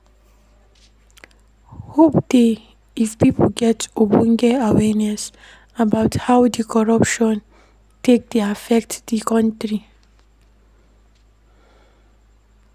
Hope dey if pipo get ogbonge awareness about how di corruption take dey affect do country